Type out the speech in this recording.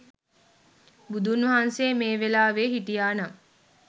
බුදුන් වහන්සේ මේ වෙලාවෙ හිටියා නම්